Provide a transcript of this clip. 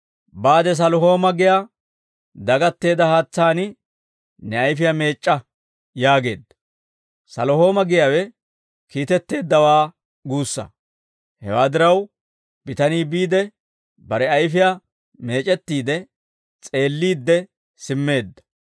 «Baade Salihooma giyaa dagatteedda haatsaan ne ayfiyaa meec'c'a» yaageedda. «Salihooma» giyaawe «Kiitetteeddawaa» guussaa. Hewaa diraw, bitanii biide, bare ayfiyaa meec'ettiide, s'eelliidde simmeedda.